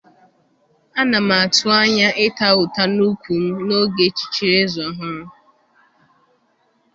Ana m atụ anya ịta ụta n'úkwù m n'oge echichiri eze ọhụrụ.